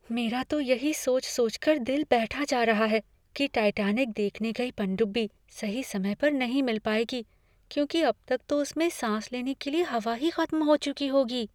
मेरा तो यही सोच सोचकर दिल बैठा जा रहा है कि टाइटैनिक देखने गई पनडुब्बी सही समय पर नहीं मिल पाएगी, क्योंकि अब तक तो उसमे सांस लेने के लिए हवा ही खत्म हो चुकी होगी।